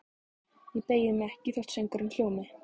Ég beygi mig ekki þótt söngurinn hljómi